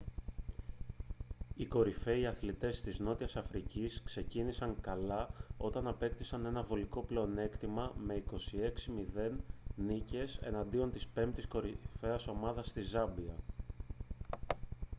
οι κορυφαίοι αθλητές της νότια αφρικής ξεκίνησαν καλά όταν απέκτησαν ένα βολικό πλεονέκτημα με 26 - 00 νίκες εναντίον της πέμπτης κορυφαίας ομάδας της ζάμπια